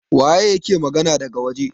waye yake magana daga waje?